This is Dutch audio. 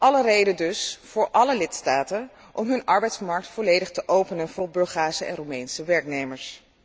Alle reden dus voor alle lidstaten om hun arbeidsmarkt volledig te openen voor Bulgaarse en Roemeense werknemers.